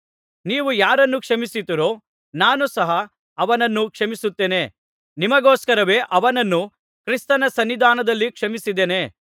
ನೀವು ಯಾರನ್ನು ಕ್ಷಮಿಸುತ್ತೀರೋ ನಾನು ಸಹ ಅವನನ್ನು ಕ್ಷಮಿಸುತ್ತೇನೆ ನಿಮಗೋಸ್ಕರವೇ ಅವನನ್ನು ಕ್ರಿಸ್ತನ ಸನ್ನಿಧಾನದಲ್ಲಿ ಕ್ಷಮಿಸಿದ್ದೇನೆ